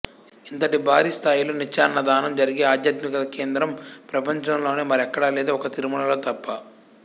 ఇంతటి భారీ స్థాయిలో నిత్యాన్నదానం జరిగే అధ్యాత్మిక కేంద్రం ప్రపంచములోనే మరెక్కడా లేదు ఒక్క తిరుమలలో తప్ప